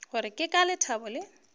gore ke ka lethabo le